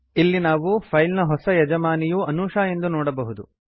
ಇಲ್ಲಿ ನಾವು ಫೈಲ್ ನ ಹೊಸ ಯಜಮಾನಿಯು ಅನೂಶಾ ಎಂದು ನೋಡಬಹುದು